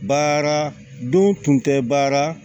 Baara dun tun tɛ baara